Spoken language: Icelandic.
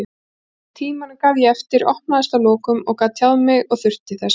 Með tímanum gaf ég eftir, opnaðist að lokum og gat tjáð mig og þurfti þess.